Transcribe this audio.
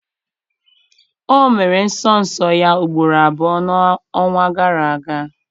O mere nsọ nsọ ya ugboro abụọ n'ọnwa gara aga.